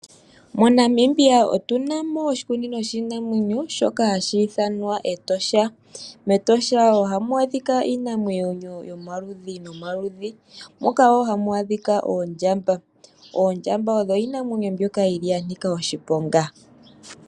MoNamibia otunamo oshikunino shiinamwenyo shoka hashi ithanwa Etosha. Metosha ohamu adhika iinamwenyo yomaludhi nomaludhi moka woo hamu adhika oondjamba. Oondjamba odho iinamwenyo mbyoka yili yanika oshiponga.